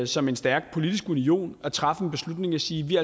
som en stærk politisk union at træffe en beslutning og sige vi